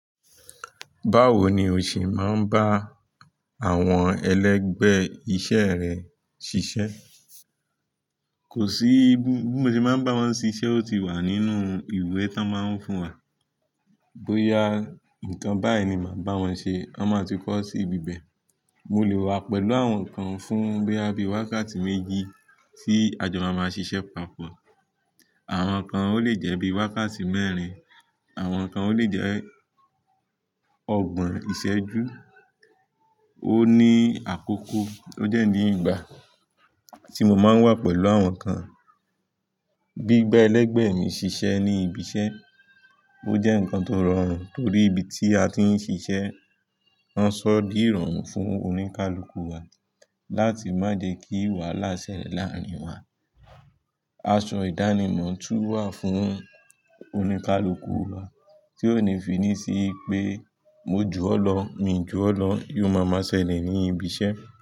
Báwo ni o ṣe máa ń bá àwọn ẹlẹgbẹ́ iṣẹ́ rẹ ṣiṣẹ́? Kò sí ibi, bí mo ṣe máa ń bá wọn ṣe iṣẹ́, ó ti wà nínú ìwé tí wọ́n máa ń fún wa. Bóyá nǹkan báyìí ni màá bá wọn ṣe, wọn máa ti kọ́ sí ibi bẹ̀. Mo lè wà pẹ̀lú àwọn kan fún boya bi wákàtí méjì tí àjọ maa máa ṣiṣẹ́ papọ̀. Àwọn kan ó lè jẹ́ bí i wákàtí mẹ́rin, àwọn kan ó lè jẹ́ ọgbọ̀n ìṣẹ́jú. Ó ní àkókò, ó dẹ́ ní ìgbà tí mo máa ń wà pẹ̀lú àwọn kan. Gbigba ẹlẹgbẹ́ mi ṣiṣẹ́ ní ibi iṣẹ́, ó jẹ́ nǹkan tó rọrùn torí ibi tí a ti ń ṣiṣẹ́, wọ́n ṣọ́ di ìrọ̀rùn fún oníkálukú wa láti má jẹ kí wàhálà ṣẹlẹ̀ láàrín wa. Aṣọ ìdánimọ̀ tún wà fún oníkálukú wa tí ó ní finní sí pé mo jù ọ́ lọ, mi jù ọ́ lọ, yóò máa máa ṣẹlẹ̀ ní ibi iṣẹ́